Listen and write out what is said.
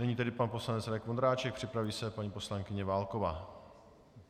Nyní tedy pan poslanec Radek Vondráček, připraví se paní poslankyně Válková.